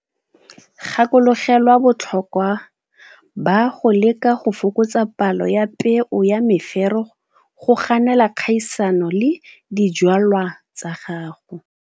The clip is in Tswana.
Gakologelwa botlhokwa ba go leka go fokotsa palo ya peo ya mefero go ganela kgaisano le dijwalwa tsa gago.